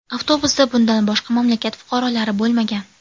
Avtobusda bundan boshqa mamlakat fuqarolari bo‘lmagan.